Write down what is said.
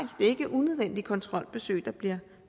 er ikke unødvendige kontrolbesøg der bliver